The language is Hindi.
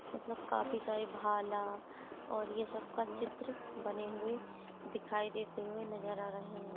मतलब काफ़ी सारे भाला और ये सब का चित्र बने हुए दिखाई देते हुए नजर आ रहे है।